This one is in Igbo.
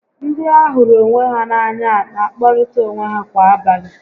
Ndị a hụrụ onwe ha n'anya n'akpọrịta onwe ha kwa abalị